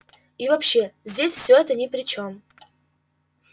и вообще здесь все это ни при чем